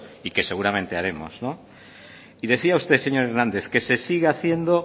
y que seguramente haremos no y decía usted señor hernández que se siga haciendo